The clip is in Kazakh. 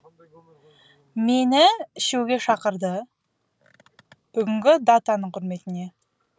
мені ішуге шақырды бүгінгі датаның құрметіне